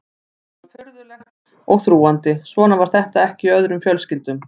Þetta var furðulegt og þrúgandi, svona var þetta ekki í öðrum fjölskyldum.